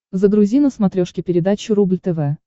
загрузи на смотрешке передачу рубль тв